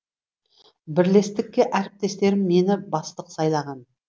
бірлестікке әріптестерім мені бастық сайлаған